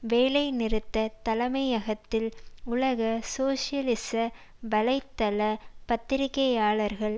வேலை நிறுத்த தலைமையகத்தில் உலக சோசியலிச வலை தள பத்திரிகையாளர்கள்